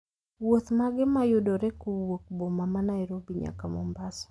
wuoth mage ma yudore kowuok boma ma nairobi nyaka mombasa